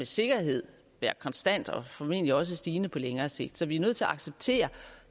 sikkerhed være konstant og formentlig også stigende på længere sigt så vi er nødt til at acceptere